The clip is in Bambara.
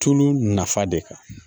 Tulu nafa de kan